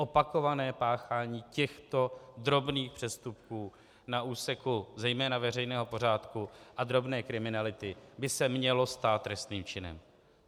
Opakované páchání těchto drobných přestupků na úseku zejména veřejného pořádku a drobné kriminality by se mělo stát trestným činem.